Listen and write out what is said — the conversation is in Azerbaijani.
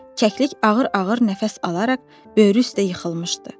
Kəklik ağır-ağır nəfəs alaraq böyrü üstə yıxılmışdı.